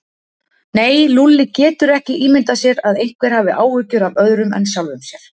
Nei, Lúlli getur ekki ímyndað sér að einhver hafi áhyggjur af öðrum en sjálfum sér.